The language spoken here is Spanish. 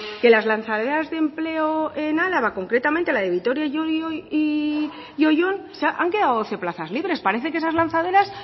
que las lanzaderas de empleo en álava concretamente la de vitoria llodio y oyón han quedado doce plazas libres parece que esas lanzaderas